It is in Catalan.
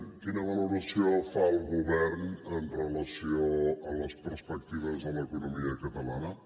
quina valoració fa el govern amb relació a les perspectives de l’economia catalana